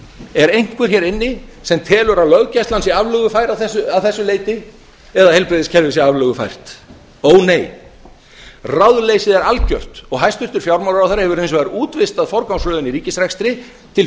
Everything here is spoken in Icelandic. er einhver hér inni sem telur að löggæslan sé aflögufær að þessu leyti eða að heilbrigðiskerfið sé aflögufært ó nei ráðleysið er algjört og hæstvirtur fjármálaráðherra hefur hins vegar útvistað forgangsröðun í ríkisrekstri til